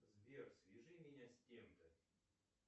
сбер свяжи меня с кем то